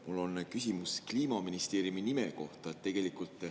Mul on küsimus Kliimaministeeriumi nime kohta.